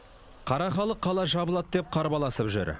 қара халық қала жабылады деп қарбаласып жүр